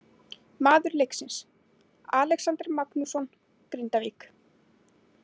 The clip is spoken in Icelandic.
Maður leiksins: Alexander Magnússon, Grindavík.